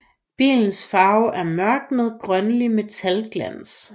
Billens farve er mørk med grønlig metalglans